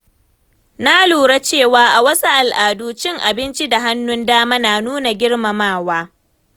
Na lura cewa a wasu al’adu, cin abinci da hannun dama na nuna girmamawa.